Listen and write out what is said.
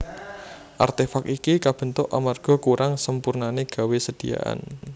Artefak iki kabentuk amarga kurang sempurnané gawé sediaan